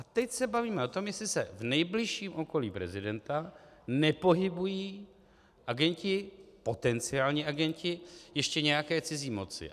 A teď se bavíme o tom, jestli se v nejbližším okolí prezidenta nepohybují agenti, potenciální agenti ještě nějaké cizí moci.